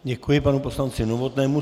Děkuji panu poslanci Novotnému.